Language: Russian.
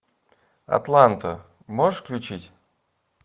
атланта можешь включить